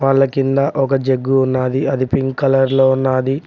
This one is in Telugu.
వాళ్ళ కింద ఒక జగ్గు ఉన్నాది అది పింక్ కలర్ లో ఉన్నాది.